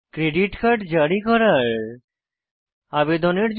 credit card জারি করার আবেদনের জন্য